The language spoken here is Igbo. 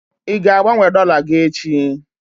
Ị ga-agbanwe dọla gị echi?